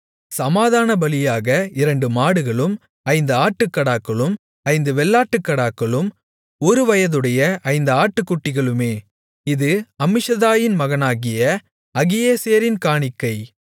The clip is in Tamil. சமாதானபலியாக இரண்டு மாடுகளும் ஐந்து ஆட்டுக்கடாக்களும் ஐந்து வெள்ளாட்டுக்கடாக்களும் ஒருவயதுடைய ஐந்து ஆட்டுக்குட்டிகளுமே இது அம்மிஷதாயின் மகனாகிய அகியேசேரின் காணிக்கை